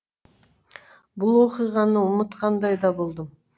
бұл оқиғаны ұмытқандай да болдым